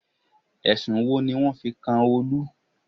Ẹ̀sùn wo ni wọ́n fi kan Olú?